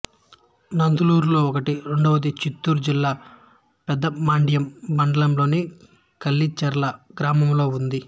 నందలూరులో ఒకటి రెండోది చిత్తూరు జిల్లా పెద్దమండ్యం మండలంలోని కలిచెర్ల గ్రామంలో ఉంది